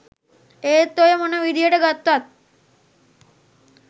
ඒත් ඔය මොන විදිහට ගත්තත්